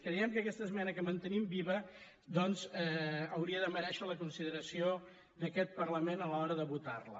creiem que aquesta esmena que mantenim viva doncs hauria de merèixer la consideració d’aquest parlament a l’hora de votar la